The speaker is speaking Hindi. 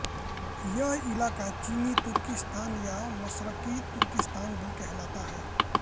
ये इलाक़ा चीनी तुर्किस्तान या मशरक़ी तुर्किस्तान भी कहलाता है